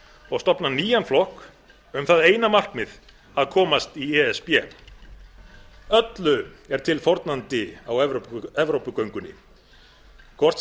og stofna nýjan flokk um það eina markmið að komast í e s b öllu er tilfórnandi á evrópugöngunni hvort sem það